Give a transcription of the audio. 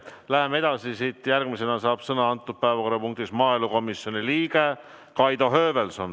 Läheme edasi, järgmisena saab antud päevakorrapunktis sõna maaelukomisjoni liige Kaido Höövelson.